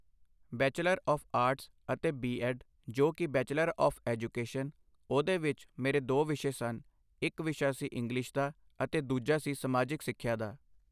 bachelor of arts ਅਤੇ B Ed ਜੋ ਕਿ ਬੈਚੁਲਰ ਔਫ਼ ਐਜੂਕੇਸ਼ਨ, ਉਹਦੇ ਵਿੱਚ ਮੇਰੇ ਦੋ ਵਿਸ਼ੇ ਸਨ- ਇੱਕ ਵਿਸ਼ਾ ਸੀ ਇੰਗਲਿਸ਼ ਦਾ ਅਤੇ ਦੂਜਾ ਸੀ ਸਮਾਜਿਕ ਸਿੱਖਿਆ ਦਾ